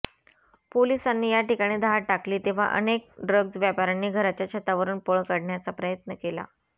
पोलिसांनी याठिकाणी धाड टाकली तेव्हा अनेक ड्रग्ज व्यापाऱ्यांनी घराच्या छतांवरून पळ काढण्याचा प्रयत्न केला